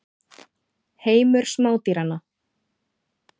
Heimur smádýranna.